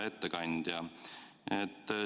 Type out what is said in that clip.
Hea ettekandja!